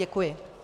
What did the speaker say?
Děkuji.